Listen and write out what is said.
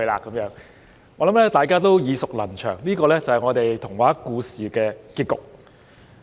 我想大家都耳熟能詳，這是童話故事的結局。